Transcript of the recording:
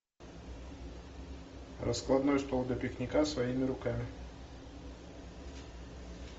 раскладной стол для пикника своими руками